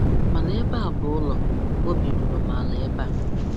Mànà ébé á bụ̀ ụ́lọ̀, óbì rúrú m àlà ébé a.